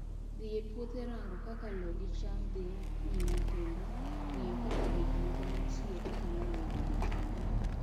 Dhi e puodho rango kaka loo gi cham dhi nyime kendo ng'iyo ka gik moko nitie kaka nowe gokinyi